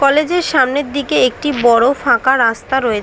college -এর সামনের দিকে একটি বড় ফাঁকা রাস্তা রয়ে --